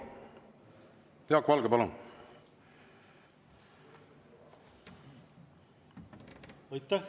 Jaak Valge, palun!